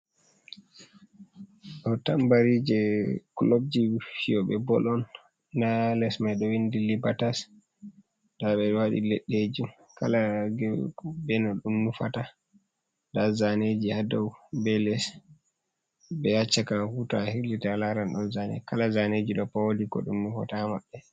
Ɗo tambari je clubji fiyoɓe bol on nda les mai ɗo windi libatas nda ɓe ɗo waɗi leɗɗe ji kala game fu be ko ɗum nufata nda zaneji ha dou, be les, be ha caka fu to a hilliti alaran ɗon zane, kala zaneji ɗo pat wodi ko ɗum nufata ha maɓɓe.